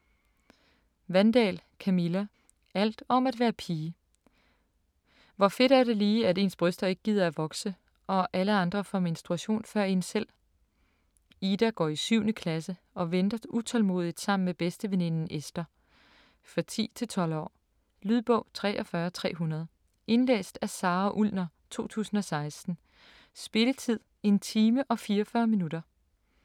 Wandahl, Camilla: Alt om at være pige Hvor fedt er det lige, at ens bryster ikke gider at vokse og alle andre får menstruation før en selv? Ida går i 7. klasse og venter utålmodigt sammen med bedsteveninden Esther. For 10-12 år. Lydbog 43300 Indlæst af Sara Ullner, 2016. Spilletid: 1 time, 44 minutter.